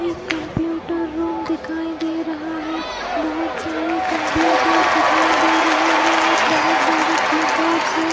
एक computer room दिखाई दे रहा है बहुत सारे कंप्यूटर्स दिखाई दे रहे हैं और बहुत सारे कीबोर्ड्स हैं।